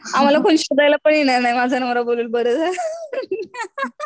आम्हाला कोणी शोधायला पण येणार नाही माझा नवरा बोलल बरं झालं